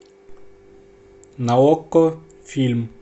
на окко фильм